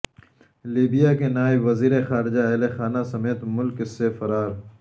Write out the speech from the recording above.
Libya کے نائب وزیر خارجہ اہل خانہ سمیت ملک سے فرار